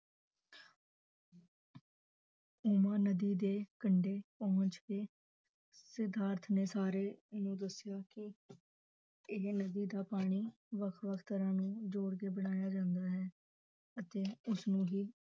ਉਮਾ ਨਦੀ ਦੇ ਕੰਡੇ ਪਹੁੰਚ ਕੇ ਸਿਧਾਰਥ ਨੇ ਸਾਰੇ ਨੂੰ ਦੱਸਿਆ ਕਿ ਇਹ ਨਦੀ ਦਾ ਪਾਣੀ ਵੱਖ ਵੱਖ ਘਰਾਂ ਨੂੰ ਜੋੜ ਕੇ ਬਣਾਇਆ ਜਾਂਦਾ ਹੈ ਅਤੇ ਉਸਨੂੰ ਹੀ